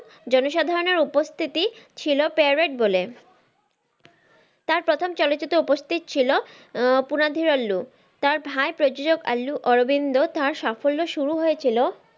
জনসাধারনের উপস্থিতি ছিল parrot বলে তার প্রথম চলচিত্র উপস্থিত ছিল আহ প্রনাধিয়ার আল্লু তার ভাই প্রযোজক আল্লু অরবিন্দ তার সাফল্য শুরু হয়েছিল,